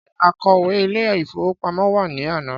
Ṣé akọ̀wé Ilé-ìfowópamó wa ní àná?